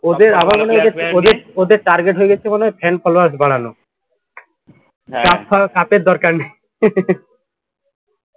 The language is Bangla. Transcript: ওদের ওদের target মনে হয় fan followers বাড়ানো cup এর দরকার নেই